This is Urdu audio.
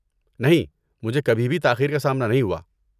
نہیں، مجھے کبھی بھی تاخیر کا سامنا نہیں ہوا۔